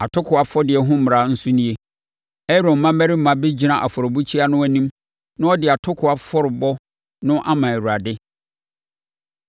“ ‘Atokoɔ afɔdeɛ ho mmara nso nie: Aaron mmammarima bɛgyina afɔrebukyia no anim na wɔde atokoɔ afɔrebɔ no ama Awurade.